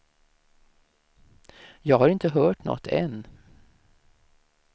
Jag har inte hört något än.